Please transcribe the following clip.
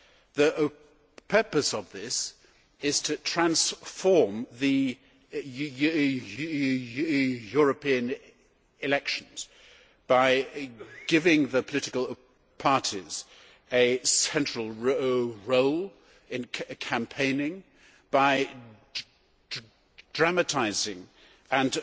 The purpose of this is to transform the European elections by giving the political parties a central role in campaigning by dramatising and